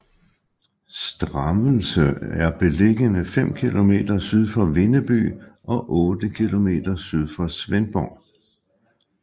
Strammelse er beliggende fem kilometer syd for Vindeby og otte kilometer syd for Svendborg